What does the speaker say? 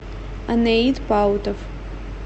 анеит паутов